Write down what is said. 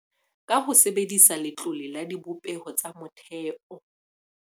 Ka ho sebedisa Letlole la Dibopeho tsa Motheo